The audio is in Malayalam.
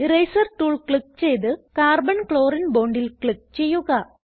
ഇറേസർ ടൂൾ ക്ലിക്ക് ചെയ്ത് carbon ക്ലോറിനെ bondൽ ക്ലിക്ക് ചെയ്യുക